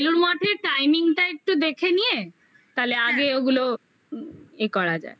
বেলুড় মঠের timing টা একটু দেখে নিয়ে তাহলে আগে ওগুলো ইয়ে করা যায়